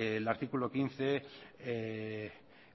el artículo quince